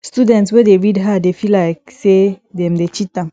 student wey dey read hard dey feel like sey dem dey cheat